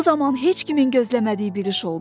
Bu zaman heç kimin gözləmədiyi bir iş oldu.